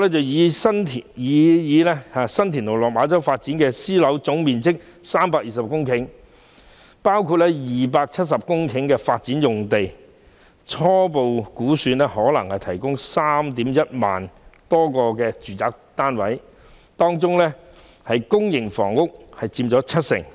擬議新田/落馬洲發展樞紐的總面積為320公頃，包括270公頃發展用地，初步估算可提供 31,000 多個住宅單位，當中公營房屋將佔七成。